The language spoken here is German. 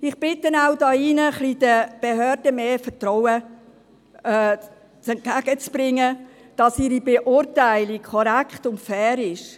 Ich bitte hier drin, den Behörden etwas mehr Vertrauen entgegenzubringen, dass ihre Beurteilung korrekt und fair ist.